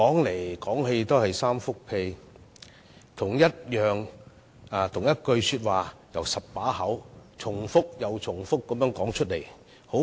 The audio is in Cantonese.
為何他們要將同一番話由10張嘴巴重複又重複地說出來呢？